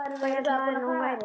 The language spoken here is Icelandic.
Hvað hélt maðurinn að hún væri?